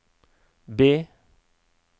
B